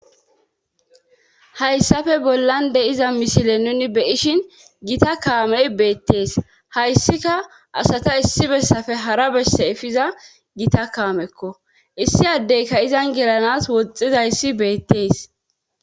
Hyssafe bollan de iza misile nuni beyishin gita kaamey beettees hayssika asata issi bessafe hara besse efiza gita kaamekko issi addeyka izan giranas woxizayssi beettees.